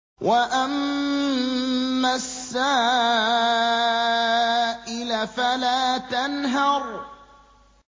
وَأَمَّا السَّائِلَ فَلَا تَنْهَرْ